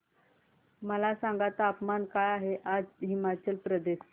मला सांगा तापमान काय आहे आज हिमाचल प्रदेश चे